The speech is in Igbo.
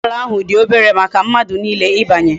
Ugboala ahu di obere maka mmadu niile ibanye